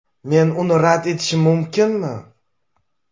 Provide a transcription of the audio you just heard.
Men uni rad etishim mumkinmi?